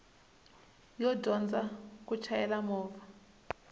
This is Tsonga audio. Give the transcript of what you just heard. yo dyondza ku chayela movha